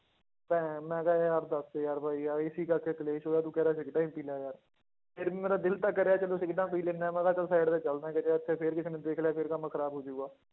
ਤੇ ਮੈਂ ਕਿਹਾ ਯਾਰ ਦੱਸ ਯਾਰ ਬਾਈ ਯਾਰ ਇਸੇ ਕਰਕੇ ਕਲੇਸ਼ ਹੋਇਆ ਤੂੰ ਕਹਿ ਰਿਹਾ ਸਿਗਰਟਾਂ ਹੀ ਪੀ ਲੈ ਯਾਰ, ਫਿਰ ਵੀ ਮੇਰਾ ਦਿਲ ਤਾਂ ਕਰਿਆ ਚਲੋ ਸਿਗਰਟਾਂ ਪੀ ਲੈਂਦਾ ਹੈ ਮੈਂ ਕਿਹਾ ਚੱਲ side ਤੇ ਚੱਲਦਾ ਕਿਸੇ ਪਾਸੇ ਫਿਰ ਕਿਸੇ ਨੇ ਦੇਖ ਲਿਆ ਫਿਰ ਕੰਮ ਖ਼ਰਾਬ ਹੋ ਜਾਊਗਾ,